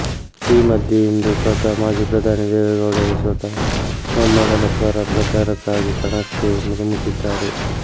ಈ ಮಧ್ಯೆ ಇಂದು ಸ್ವತಃ ಮಾಜಿ ಪ್ರಧಾನಿ ದೇವೆಗೌಡರೇ ಸ್ವತಃ ಮೊಮ್ಮಗನ ಪರ ಪ್ರಚಾರಕ್ಕಾಗಿ ಕಣಕ್ಕೆ ಧುಮುಕಿದ್ದಾರೆ